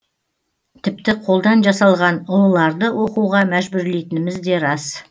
тіпті қолдан жасалған ұлыларды оқуға мәжбүрлейтініміз де рас